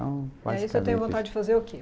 Aí o senhor tem vontade de fazer o quê?